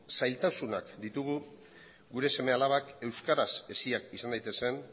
zailtasunak ditugu gure seme alabak euskaraz heziak izan daitezen